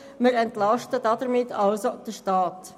Wir entlasten damit folglich den Staat.